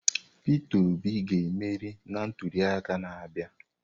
Peter Obi ga-emeri na ntuliaka na-abịa.